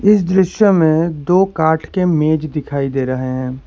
इस दृश्य में दो काठ के मेज दिखाई दे रहे हैं।